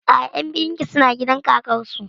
A'a, ƴan biyun ki suna gidan kakar su